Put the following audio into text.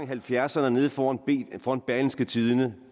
halvfjerdserne nede foran foran berlingske tidende